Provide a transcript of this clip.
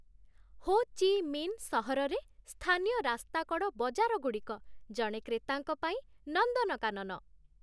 ହୋ Chi Minh ସହରରେ, ସ୍ଥାନୀୟ ରାସ୍ତାକଡ଼ ବଜାରଗୁଡ଼ିକ ଜଣେ କ୍ରେତାଙ୍କ ପାଇଁ ନନ୍ଦନକାନନ।